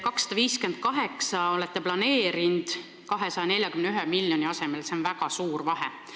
258 miljonit olete planeerinud 241 miljoni asemel – see on väga suur vahe.